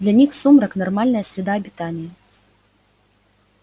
для них сумрак нормальная среда обитания